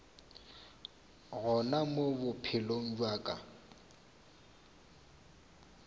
gona mo bophelong bja ka